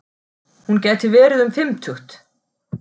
Hún gæti verið um fimmtugt.